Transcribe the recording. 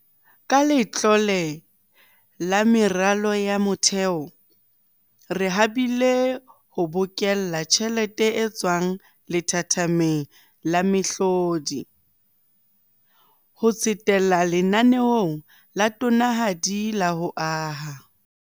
Ka Letlole la Meralo ya Motheo, re habile ho bokella tjhelete e tswang lethathameng la mehlodi, ho tsetela lenaneong la tonanahadi la ho aha.